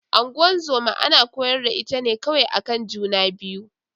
Ngozoma ana kwayar da ita ne kawai akan juna biyu.